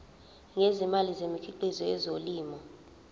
ngezimali ngemikhiqizo yezolimo